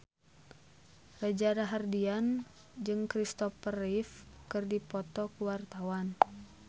Reza Rahardian jeung Christopher Reeve keur dipoto ku wartawan